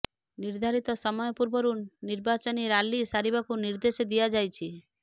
ନିର୍ଦ୍ଧାରିତ ସମୟ ପୂର୍ବରୁ ନିର୍ବାଚନୀ ରାଲି ସାରିବାକୁ ନିର୍ଦ୍ଦେଶ ଦିଆଯାଇଛି